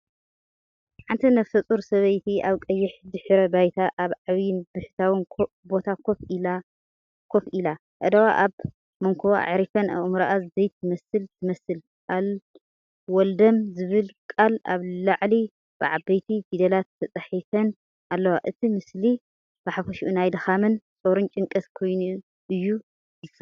ሓንቲ ነፍሰጾር ሰበይቲ ኣብ ቀይሕ ድሕረ ባይታ ኣብ ዓቢን ብሕታዊን ቦታ ኮፍ ኢላ፡ ኣእዳዋ ኣብ መንኵባ ኣዕሪፈን፡ኣእምሮኣ ዘይትመስል ትመስል።“ኣልወለደም”ዝብላ ቃላት ኣብ ላዕሊ ብዓበይቲ ፊደላት ተጻሒፈን ኣለዋ። እቲ ምስሊ ብሓፈሻኡ ናይ ድኻምን ጾርን ጭንቀትን ኮይኑ እዩ ዝስኣል።